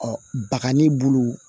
bagai bulu